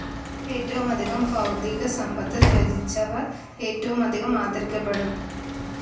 ഏറ്റവുമധികം ഭൗതികസമ്പത്ത് ത്യജിച്ചവർ ഏറ്റവുമധികം ആദരിക്കപ്പെടുന്നു.